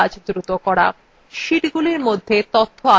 sheetsগুলির মধ্যে তথ্য আদানপ্রদান